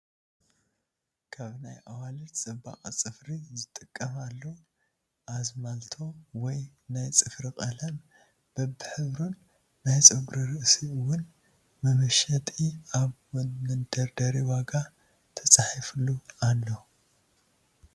ካብ ናይ ኣዋልድ ፅባቀ ፅፍሪ ዝጥቀማሉ ኣዝማልቶ ወይ ናይ ፅፍሪ ቀለም በብሕብሩን ናይ ፀጉሪ ርእሲ እዉን መመሸጥ ኣብ መደርደሪ ዋጋ ተፃሒፉሉ ኣሎ።